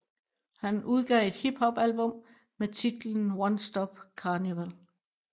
Han udgav et hip hop album med titlen One Stop Carnival